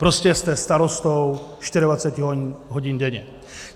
Prostě jste starostou 24 hodin denně.